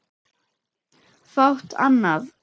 Fátt annað.